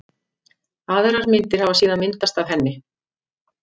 Aðrar myndir hafi síðan myndast af henni.